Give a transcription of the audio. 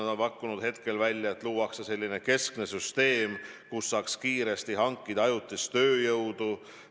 Nad on pakkunud välja, et luuakse keskne süsteem, mille abil saaks kiiresti hankida ajutist tööjõudu.